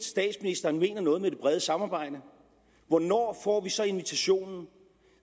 statsministeren mener noget med det brede samarbejde hvornår får vi så invitationen